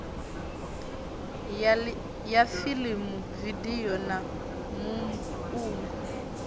ya fiḽimu vidio na muungo